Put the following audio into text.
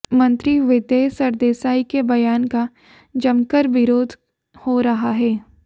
मंत्री विदय सरदेसाई के बयान का जमकर विरोध हो रहा है